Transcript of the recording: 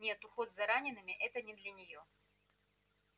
нет уход за ранеными это не для неё